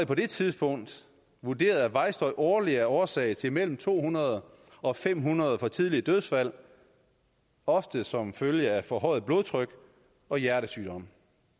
på det tidspunkt vurderet at vejstøj årligt er årsag til mellem to hundrede og fem hundrede for tidlige dødsfald ofte som følge af forhøjet blodtryk og hjertesygdomme